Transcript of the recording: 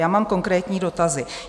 Já mám konkrétní dotazy.